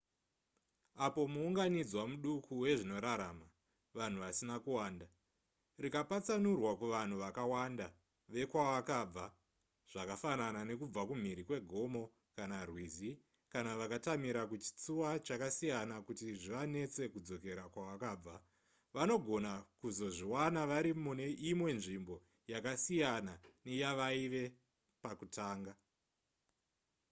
apo muunganidzwa muduku wezvinorarama vanhu vasina kuwanda rikapatsanurwa kuvanhu vakawanda vekwavakabva zvakafanana nekubva kumhiri kwegomo kana rwizi kana vakatamira kuchitsuwa chakasiyana kuti zvivanetse kudzokera kwavakabva vanogona kuzozviwana vari mune imwe nzvimbo yakasiyana neyavaive pakutanga